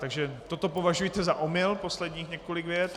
Takže toto považujte za omyl, posledních několik vět.